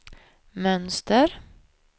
mönster